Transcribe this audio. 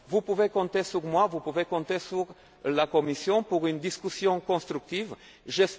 réforme. Vous pouvez compter sur moi, vous pouvez compter sur la Commission pour qu'une discussion constructive soit